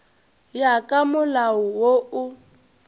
ya ka molao wo o